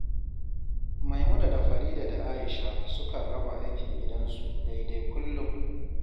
Maimuna da Farida da Aisha sukan raba aikin gidansu daidai kullum